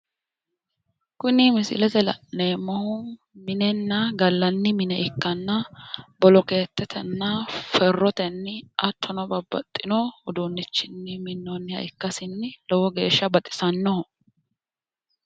Kuni misilete la'neemmohu minenna gallanni mine ikkanna bolokeetetenna ferrotenni, hattono babbaxxino uduunnichinni minnoonniha ikkasinni lowo geeshsha baxisannoho.